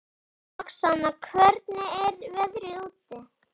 Roxanna, hvernig er veðrið úti?